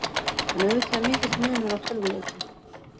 En auðvitað er mikill munur á tölvuleikjum.